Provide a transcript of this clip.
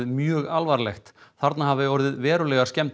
mjög alvarlegt þarna hafi orðið verulegar skemmdir